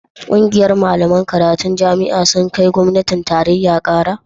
ƙungiyar malaman karatun jami'an sun kai gwamnatin tarayya Kara?